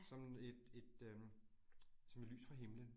Sådan et et øh som et lys fra himmelen